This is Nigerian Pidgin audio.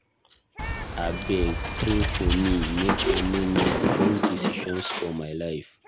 Abeg, pray for me make I no make wrong decision for my life.